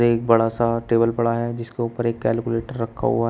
एक बड़ा सा टेबल पड़ा है जिसके ऊपर एक कैलकुलेटर रखा हुआ है।